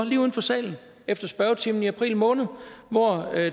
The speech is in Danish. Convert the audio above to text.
lige uden for salen efter spørgetimen i april måned hvor